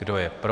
Kdo je pro?